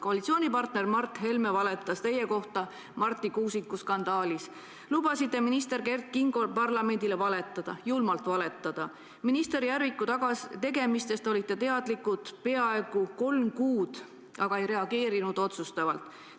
Koalitsioonipartner Mart Helme valetas teie kohta Marti Kuusiku skandaalis; te lubasite minister Kert Kingol parlamendile julmalt valetada; minister Järviku tegemistest olite teadlik peaaegu kolm kuud, aga ei reageerinud otsustavalt.